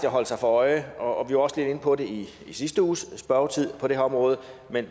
at holde sig for øje og vi var også lidt inde på det i sidste uges spørgetid på det her område